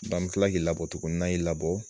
an bɛ kila ki labɔ tugunni, nan y'i labɔ.